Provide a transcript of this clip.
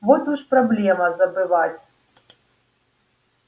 вот уж проблема забывать